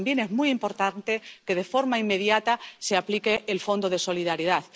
Pero también es muy importante que de forma inmediata se aplique el Fondo de Solidaridad.